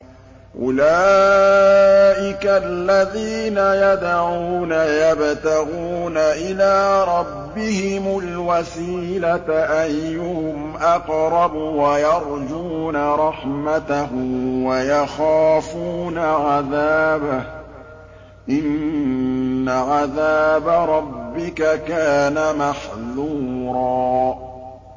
أُولَٰئِكَ الَّذِينَ يَدْعُونَ يَبْتَغُونَ إِلَىٰ رَبِّهِمُ الْوَسِيلَةَ أَيُّهُمْ أَقْرَبُ وَيَرْجُونَ رَحْمَتَهُ وَيَخَافُونَ عَذَابَهُ ۚ إِنَّ عَذَابَ رَبِّكَ كَانَ مَحْذُورًا